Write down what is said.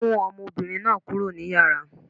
Mú ọmọbìnrin náà kúrò ní Yàrá.!